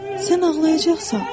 Sən ağlayacaqsan?